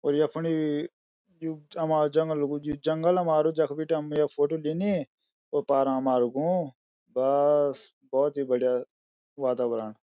और यख फुंडी यु हमारू जंगलु जू जंगल हमारू जख बीटी हम य फोटू लिनी उ पार मा हमारू गों बस भोत ही बढ़िया वातावरण।